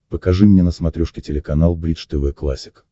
покажи мне на смотрешке телеканал бридж тв классик